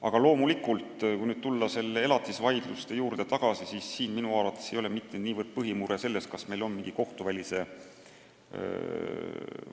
Aga kui tulla tagasi elatisvaidluste juurde, siis minu arvates ei ole põhimure mitte niivõrd selles, et meil pole kohtuvälist